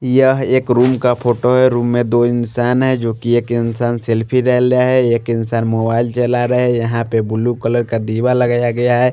यह एक रूम का फोटो है रूम में दो इंसान है एक इंसान सेल्फी ले लिया है एक इंसान मोबाइल चलरा है यहां पे ब्लू कलर का दिवा लगाया गया है।